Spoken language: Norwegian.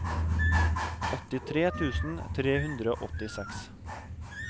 åttitre tusen tre hundre og åttiseks